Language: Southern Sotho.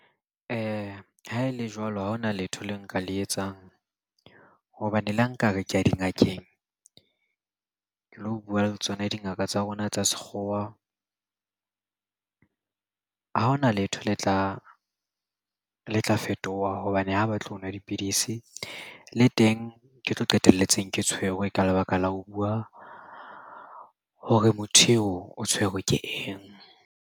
Ha e le jwalo ha ho na letho le nka le etsang. Hobane le ha nka re ke ya dingakeng ke lo bua le tsona dingaka tsa rona tsa sekgowa, ha ho na letho le tla fetoha hobane ha batle ho nwa dipidisi. Le teng ke tlo qetelletseng ke tshwerwe ka lebaka la ho bua hore motho eo o tshwerwe ke eng?